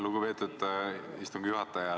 Lugupeetud istungi juhataja!